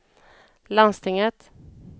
landstinget